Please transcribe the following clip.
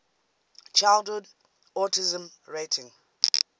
childhood autism rating